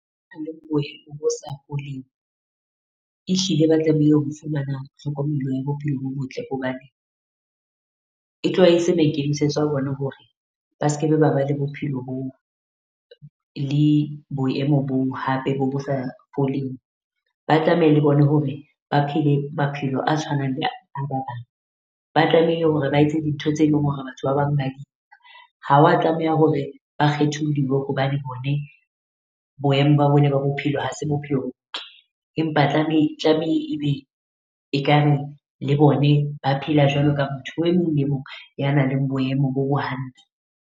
Bo sa foleng. Ehlile ba tlamehile o fumana tlhokomelo ya bophelo bo botle hobane, e tloha e se maikemisetso a bona hore ba skebe ba ba le bophelo bo le boemo boo hape bo bosa foleng. Ba tlameha le bona hore ba phele maphelo a tshwanang le a ba bang. Ba tlamehile hore ba etse dintho tse leng hore batho ba bang ba . Ha wa tlameha hore ba kgetholliwe hobane bone boemo ba bone ba bophelo ha se bophelo . Empa tlamehe tlamehe ebe ekare le bone ba phela jwalo ka motho e mong le mong ya nang le boemo bo bo hantle.